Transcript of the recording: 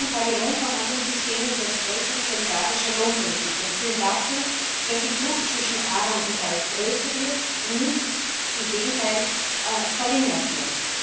Dezentrale Lohnverhandlungssysteme widersprechen solidarischer Lohnpolitik und führen dazu, dass die Kluft zwischen Arm und Reich größer wird und nicht im Gegenteil verringert wird.